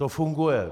To funguje.